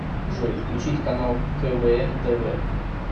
джой включить канал квн тв